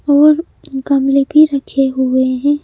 और गमले भी रखे हुए हैं।